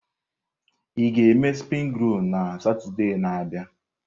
Ị ga-eme springi rolu na Satọde na-abịa?